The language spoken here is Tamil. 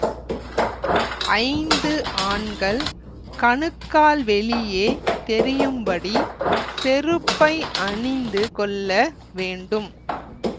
ஐந்து ஆண்கள் கணுக்கால் வெளியே தெரியும்படி செருப்பை அணிந்து கொள்ள வேண்டும்